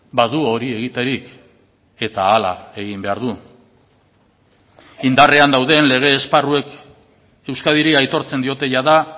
badu hori egiterik eta hala egin behar du indarrean dauden lege esparruek euskadiri aitortzen diote jada